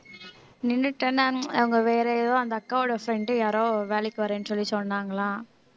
நின்னுட்டேன் நான் அவங்க வேற ஏதோ அந்த அக்காவோட friend யாரோ வேலைக்கு வர்றேன்னு சொல்லி சொன்னாங்களாம்